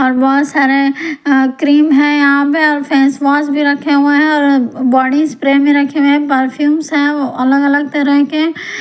और बहुत सारे क्रीम है यहां पे और फेस वॉश भी रखे हुए हैऔर बॉडी स्प्रे में रखे हुए हैं परफ्यूम्स है अलग-अलग तरह के ।